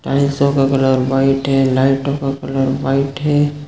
टाइल्सो का colour white है लाइटो का कलर वाइट है।